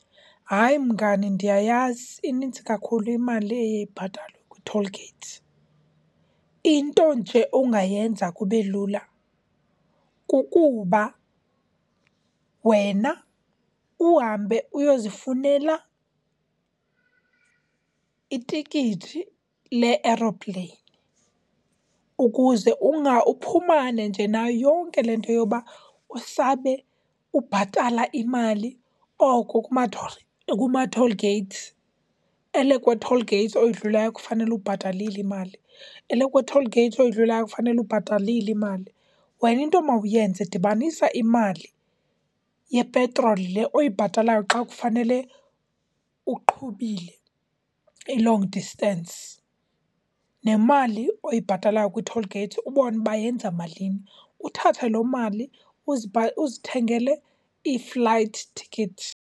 Hayi, mngani, ndiyayazi, inintsi kakhulu imali eye ibhatalwe kwitholigeyithi. Into nje ongayenza kube lula kukuba wena uhambe uyozifunela itikiti le-eropleyini ukuze uphumane nje nayo yonke le nto yoba usabe ubhatala imali oko kumatholigeyithi. Elekwe tholigeyithi oyidlulayo, kufanele ubhatalile imali. Elekwe tholigeyithi oyidlulayo ufanele ubhatalile imali. Wena into mawuyenze dibanisa imali yepetroli le oyibhatalayo xa kufanele uqhubile i-long distance nemali oyibhatalayo kwitholigeyithi ubone uba yenza malini. Uthathe loo mali uzithengele i-flight ticket.